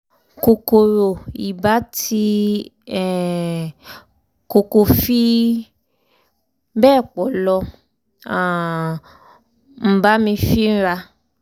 kòkòrò ibà tí um kò kò fi bẹ́ẹ̀ pọ̀ ló um ń um bá mi fínra